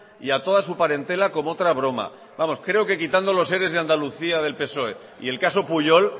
y a toda su parentela comootra broma vamos creo que quitando los eres de andalucía del psoe y el caso pujol